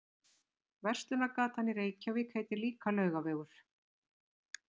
Verslunargatan í Reykjavík heitir líka Laugavegur.